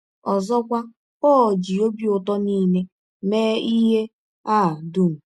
Ọzọkwa, Pọl ji “ ọbi ụtọ nile ” mee ihe a dụm.